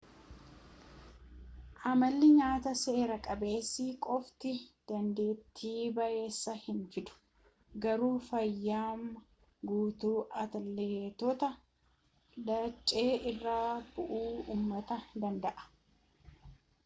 amalli nyaataa seer-qabeessi qofti dandeettii bayeessa hin fidu garuu fayyummaa guutuu atleetota laccee irratti bu'aa uumuu danda'a